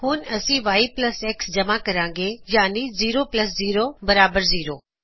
ਹੁਣ ਅਸੀ Y plus X ਜਮ੍ਹਾ ਕਰਾਗੇ ਯਾਨੀ ਜ਼ੀਰੋ ਪਲਸ ਜ਼ੀਰੋ ਬਰਾਹਰ ਜ਼ੀਰੋ